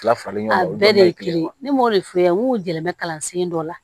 Lafalima ɲɔgɔn bɛɛ de ye kelen ye ne m'o de f'u ɲɛna n k'u jɛlen bɛ kalan sen dɔ la